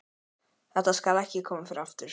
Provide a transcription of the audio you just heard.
Þetta skal ekki koma fyrir aftur.